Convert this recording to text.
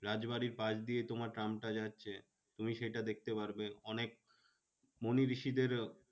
রাজ বাড়ির পাস দিয়ে তোমার ট্রামটা যাচ্ছে। তুমি সেটা দেখতে পারবে অনেক মনি ঋষিদের